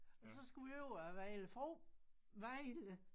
Og så skulle vi over æ Vejle bro Vejle